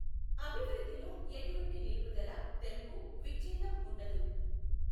అభివృద్ధిలో ఎటువంటి నిలుపుదల, తెంపు, విఛ్ఛేదం ఉండదు.